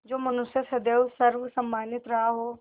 जो मनुष्य सदैव सर्वसम्मानित रहा हो